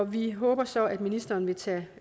vi håber så at ministeren vil tage